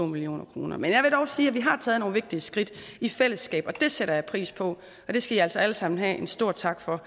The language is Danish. million kroner men jeg vil dog sige at vi har taget nogle vigtige skridt i fællesskab og det sætter jeg pris på og det skal i altså alle sammen have en stor tak for